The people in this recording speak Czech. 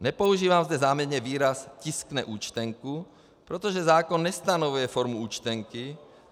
Nepoužívám zde záměrně výraz "tiskne účtenku", protože zákon nestanoví formu účtenky.